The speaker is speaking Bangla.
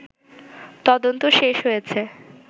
তদন্ত শেষ হয়েছে